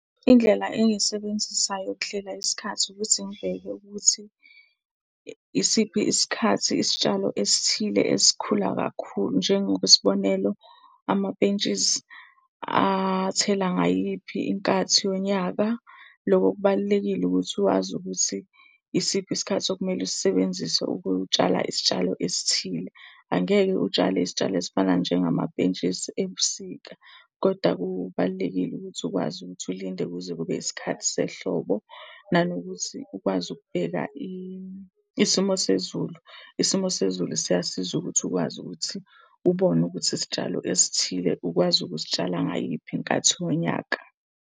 Indlela engiyisebenzisayo ukuhlela isikhathi ukuthi ngibheke ukuthi isiphi isikhathi isitshalo esithile esikhula kakhulu. Njengokwesibonelo, amapentshisi athela ngayiphi inkathi yonyaka? Loko kubalulekile ukuthi uwazi ukuthi isiphi isikhathi okumele usisebenzise ukutshala isitshalo esithile. Angeke utshale isitshalo esifana njengamapentshisi ebusika. Koda kubalulekile ukuthi ukwazi ukuthi ulinde kuze kube isikhathi sehlobo. Nanokuthi ukwazi ukubheka isimo sezulu. Isimo sezulu siyasiza ukuthi ukwazi ukuthi ubone ukuthi isitshalo esithile ukwazi ukusitshala ngayiphi inkathi wonyaka.